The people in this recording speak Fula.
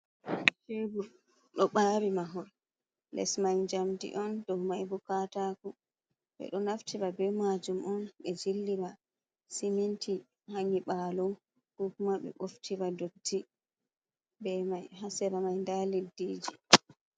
Tebor ɗo bari mahol les mai jamdi on dow mai bo kataku ɓeɗo naftira be majum on ɓe jillira siminti ha nyibalo ko kuma ɓe ɓoftiva dotti be mai ha sera mai nda leddiji.